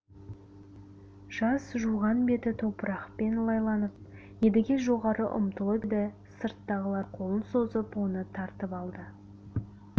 жас жуған беті топырақпен лайланып едіге жоғары ұмтылып еді сырттағылар қолын созып оны тартып алды